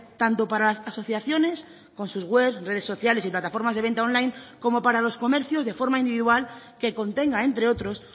tanto para las asociaciones con sus webs redes sociales y plataformas de venta online como para los comercios de forma individual que contenga entre otros